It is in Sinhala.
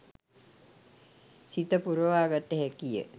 සිත පුරවා ගත හැකි ය.